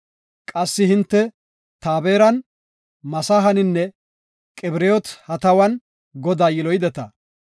Qassi hinte Taaberan, Masahaninne Qibiroot-Hatawan Godaa yiloyideta.